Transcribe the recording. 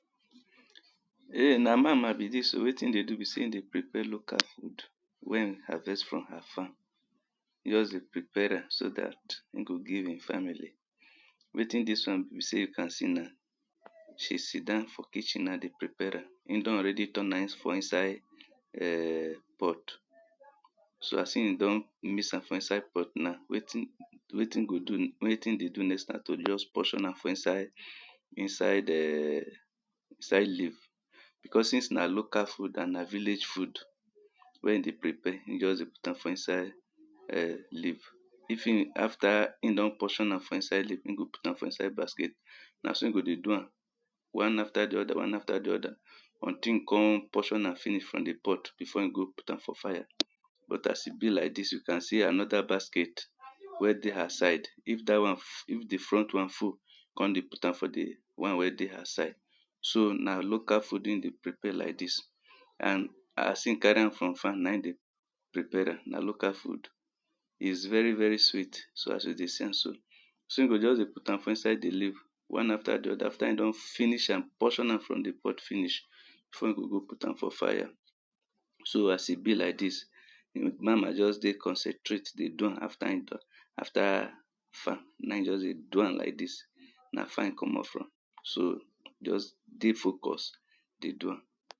Eh na mama be dis oh. Wetin e dey do be sey e dey prepare local food wey hin harvest from her farm. E just dey prepare am so dat hin go give im family wetin dis be sey as she siddon for kitchen na dey prepare am hin e don already turn am for inside um pot so hin e don mix am for inside pot now, wetin go do wetin dey do next na to just portion am inside um inside leaf because since na local food and na vilage wey hin dey prepare hin just dey put am for inside um leaf if hin, afta hin don portion am for inside leaf hin go put am inside basket. Na so hin go dey do am. one afta the other one afta the other until hin don portion am finish for the pot before hin go put am for fire but as e be like this you can see anoda baskate wey dey her side if dat one if the front one full e con dey put am for de one wey dey her side. so na local food hun dey prepare like dis and as hin carry am frrom fire na hin dey prepare am na local food iz very very sweet so as you dey see am so hin go just dey put am inside the leaf one afta the other afta hin don finish am portion am for the pot finish before hin go go put am for fire so as e be like dis mama jus dey concentrated dey do am afta hin na hin jus dey do am like dis jus dey focus dey do am